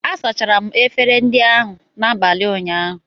A sachara m efere ndị ahụ n’abalị ụnyaahụ